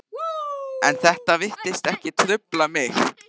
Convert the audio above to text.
En þetta virtist ekki trufla mig.